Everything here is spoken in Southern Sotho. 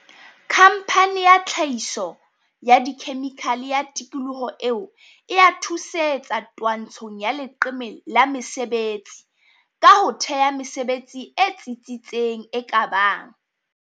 khamphane ya tlha hiso ya dikhemikhale ya tikoloho eo e a thusetsa twantsho ng ya leqeme la mesebetsi ka ho thea mesebetsi e tsi tsitseng e ka bang